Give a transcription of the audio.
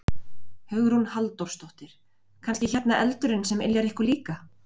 Hugrún Halldórsdóttir: Kannski hérna eldurinn sem yljar ykkur líka?